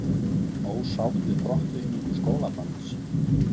Ósátt við brottvikningu skólabarns